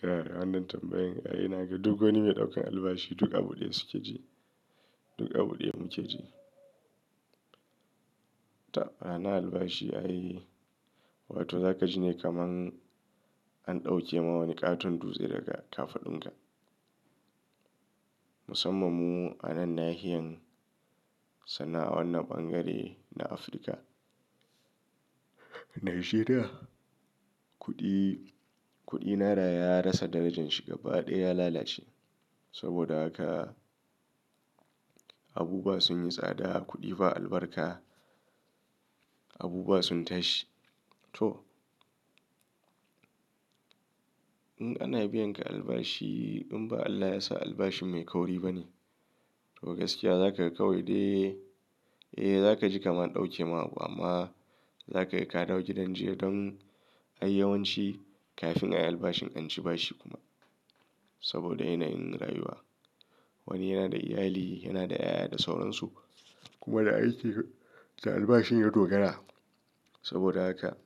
Kai, wannan tambayan. Ai na ga duk wani mai ɗaukan albashi duk abu ɗaya suke ji. Duk abu ɗaya muke ji. Ta, ana albashi ai, wato za ka ji ne kaman an ɗauke ma wani ƙaton dutse daga ƙafaɗunka. Musamman mu a nan nahiyar Sannan a ɓangare na Afirka. Najeriya, kuɗi, kuɗi naira ya rasa darajan shi gaba ɗaya ya lalace. Saboda haka abubuwa sun yi tsada, kuɗi ba albarka, abubuwa sun tashi. To. In ana biyan ka albashi in ba Allah ya sa albashin mai kauri ba ne. To gaskiya za ka yi kawai dai. Eh za ka ji kaman an ɗauke ma abu amma za ka yi ka dawo gidan jiya don a yi yawanci kafin a yi albashin an ci bashi kuma. Saboda yanayin rayuwa. Wani yana da iyali, yana da 'ya'ya da sauransu. Kuma da aiki da albashin ya dogara. Saboda haka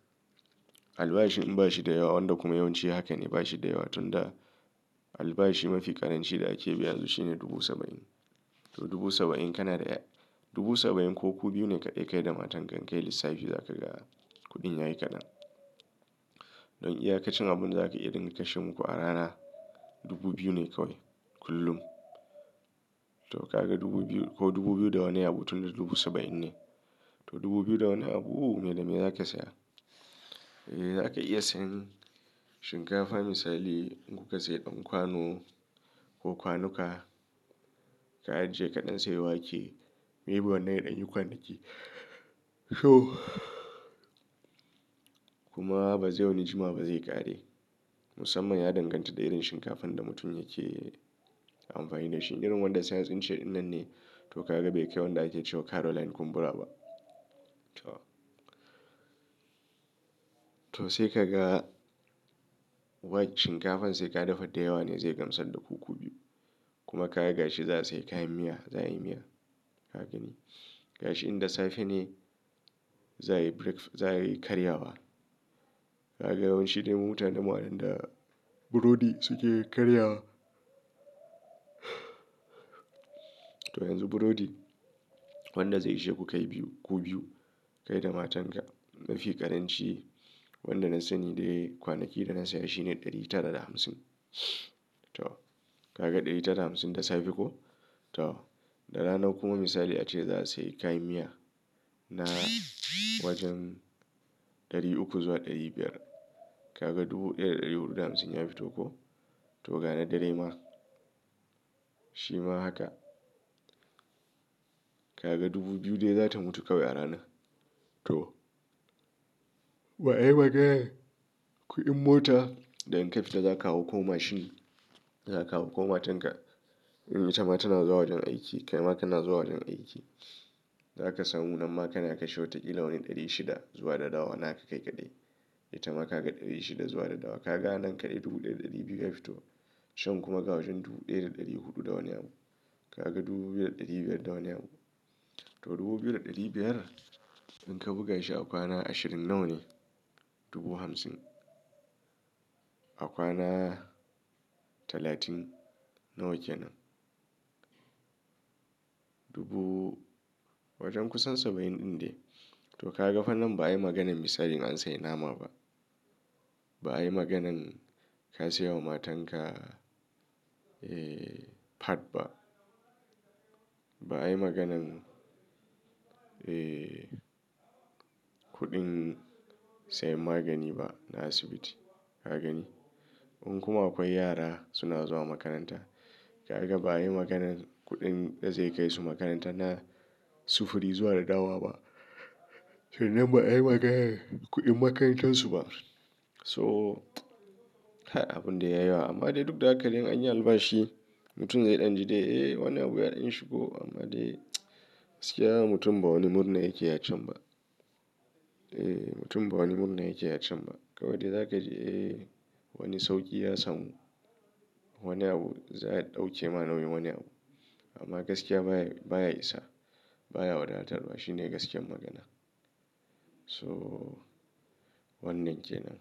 albashi in ba shi da yawa wanda kuma yawanci haka ne ba shi da yawa tun da albashi mafi ƙaranci da ake biyan su shine dubu saba'in. To dubu saba'in kana da ya-- dubu saba'in ko ku biyu ne kaɗai kai da matan ka in ka yi lissafi za ka ga kuɗin yayi kaɗan. Don iya ka cin abun za ka iya ɗinka shi muƙu a ran dubu biyu ne kauye kullum. To ka ga dubu biyu ko dubu biyu da wani abu tun dubu saba'in ne. To dubu biyu da wani abu me da me za ka saya? Eh za ka iya sayan shinkafa misali in kuka sayi ɗan kwano ko kwanuka. Ka ajiye ka ɗan saye wake. Maybe wannan yana ɗan yi kwanaki. To. Kuma ba zai wani jima ba zai ƙare. Musamman ya danganta da irin shinkafan da mutum yake amfani da shi. Irin wanda science in ce irin nan ne. To ka ga bai kai wanda ake cewa Caroline kumbura ba. To. To sai ka ga wai shinkafan sai ka dafa da yawa ne zai gamsar da kuku biyu. Kuma ka ga gashi za su yi kayan miya, za a yi miya. Haka ne. Gashi in da safe ne za a yi breakf-- za a yi karyawa. Ka ga yawanci dai mutane mutanen mu da burodi suke karya. To yanzu burodi wanda zai ishe ku kai biyu, ku biyu kai da matan ka mafi ƙaranci wanda na sani dai kwanaki da na saya shine ɗari tara da hamsin. To. Ka ga ɗari tara da hamsin da safe ko? To. Da rana kuma misali ace za su yi kayan miya na wajen ɗari uku zuwa ɗari biyar. Ka ga dubu ɗaya da ɗari huɗu da hamsin ya fito ko? To ga na dare ma. Shi ma haka. Ka ga dubu biyu dai za ta mutu kauye a rana. To. Ba a yi maganan kuɗin mota da in ka fita za ka hau ko mashin za ka hau ko matan ka in ita ma tana zuwa wajen aiki. Kai ma kana zuwa wajen aiki. Za ka samu nan ma kana kashi wataƙila wani ɗari shida zuwa da dawa naka kai kaɗai. Ita ma ka ga ɗari shida zuwa da dawa. Ka ga nan kaɗai dubu ɗaya da ɗari biyu ya fito. Chan kuma ga wajen dubu ɗaya da ɗari huɗu da wani abu. Ka ga dubu biyu da ɗari biyar da wani abu. To dubu biyu da ɗari biyar in ka buga shi a kwana ashirin nawane dubu hamsin. A kwana talatin nawa kenan. Dubu wajen kusan saba'in ɗin dai. To ka ga fa nan ba yi maganan misali in a an sayi nama ba. Ba ai maganan ka siyawa matan ka, eh, pad ba. Ba ai maganan, eh, kuɗin sayan magani ba na asibiti. Kagani? In kuma akwai yara suna zuwa makaranta. Ka ga ba ai maganan kuɗin da zai kai su makaranta na sufuri zuwa da dawa ba. To nan ba ai maganan kuɗin makarantar su ba. To, har abun da ya yawa amma dai duk da haka dai an yi albashi. Mutum zai ɗan ji dai, eh wannan abu yaɗin shigo amma dai gaskiya mutum ba wani murna yake ya can ba. Eh mutum ba wani murna yake ya can ba. Kawai dai za ka ji eh wani sauƙi ya samu. Wani abu za a ɗauke ma nauyin wani abu. Amma gaskiya baya, baya isa. Baya wadatarwa. Shi ne gaskiyar magana. So wannan kenan.